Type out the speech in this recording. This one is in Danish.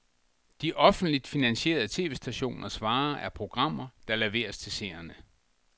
De offentligt finansierede tv-stationers vare er programmer, der leveres til seerne.